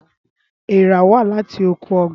Éèrà wá láti oko ọgbà.